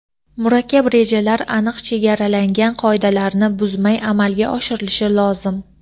murakkab rejalar aniq chegaralangan qoidalarni buzmay amalga oshirilishi lozim.